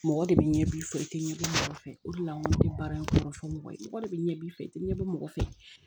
Mɔgɔ de bɛ ɲɛ b'i fɛ i tɛ ɲɛ dɔn mɔgɔ fɛ o de la n ko ne bɛ baara in kɔnɔ fɔ mɔgɔ ye mɔgɔ de ɲɛ b'i fɛ i tɛ ɲɛ dɔn mɔgɔ fɛ